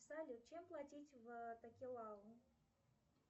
салют чем платить в такелау